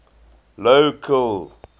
local